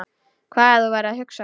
Hvað þú værir að hugsa.